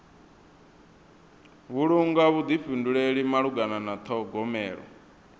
vhulunga vhuḓifhinduleli malugana na ṱhogomelo